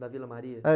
Da Vila Maria. É.